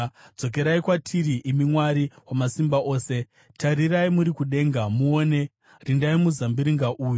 Dzokerai kwatiri, imi Mwari Wamasimba Ose! Tarirai muri kudenga muone! Rindai muzambiringa uyu,